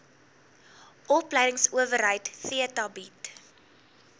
opleidingsowerheid theta bied